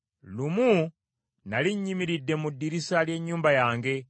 Lumu nnali nnyimiridde ku ddirisa ly’ennyumba yange.